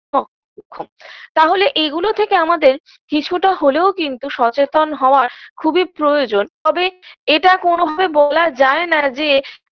সক্ষম তাহলে এগুলো থেকে আমাদের কিছুটা হলেও কিন্তু সচেতন হওয়ার খুবই প্রয়োজন তবে এটা কোনভাবে বলা যায় না যে